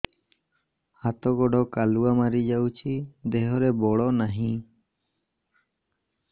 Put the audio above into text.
ହାତ ଗୋଡ଼ କାଲୁଆ ମାରି ଯାଉଛି ଦେହରେ ବଳ ନାହିଁ